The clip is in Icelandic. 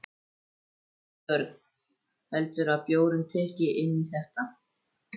Björn: Heldurðu að bjórinn tikki inn í þetta?